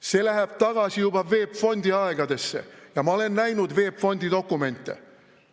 See läheb tagasi juba VEB Fondi aegadesse, ma olen näinud VEB Fondi dokumente.